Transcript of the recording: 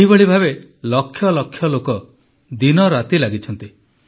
ଏହିଭଳି ଭାବେ ଲକ୍ଷ ଲକ୍ଷ ଲୋକ ଦିନରାତି ଲାଗିଛନ୍ତି